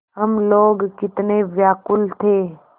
हम लोग कितने व्याकुल थे